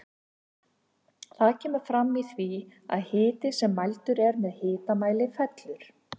Það kemur fram í því að hiti sem mældur er með hitamæli fellur.